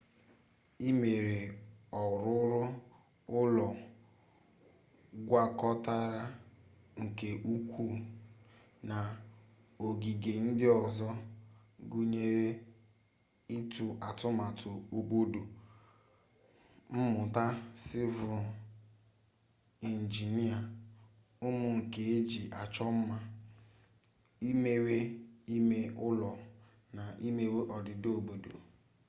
imewe ọrụrụ ụlọ gwakọtara nke ukwuu na ogige ndị ọzọ gụnyere ịtụ atụmatụ obodo mmụta sịvịl injinịa ụmụ nka eji achọ mma imewe ime ụlọ na imewe odida obodo